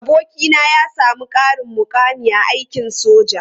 Abokina ya sami ƙarin mukami a aikin soja.